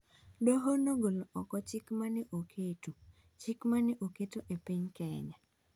Doho nogolo oko chik ma ne oketo chik ma ne oketo e piny Kenya